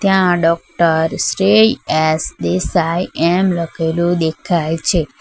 ત્યાં doctor Shrey S Desai એમ લખેલું દેખાય છે.